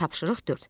Tapşırıq dörd.